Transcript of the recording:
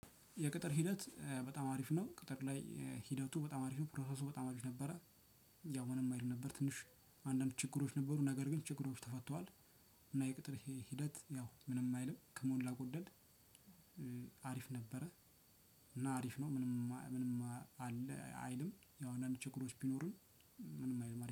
የቅጥር ሂደት በጣም አሪፍ ነው። ቅጥር ላይ ሂደቱ በጣም አሪፍ ነው ፕሮሰሱ በጣም አሪፍ ነበረ። ያው ምንም አይልም ነበር። ትንሽ አንዳንድ ችግሮች ነበሩ ነገር ግን ችግሮች ተፈተዋል። እና የቅጥር ሂደት ያው ምንም አይልም ከሞላ ጎደል። አሪፍ ነበረ። እና አሪፍ ነው። ምንም አይልም ያው አንዳንድ ችግሮች ቢኖሩኝ ምንም አይልም አሪፍ